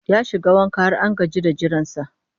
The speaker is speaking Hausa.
Ya shiga wanka har an gaji da jiransa